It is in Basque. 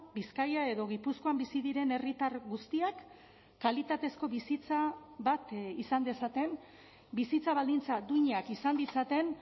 bizkaia edo gipuzkoan bizi diren herritar guztiak kalitatezko bizitza bat izan dezaten bizitza baldintza duinak izan ditzaten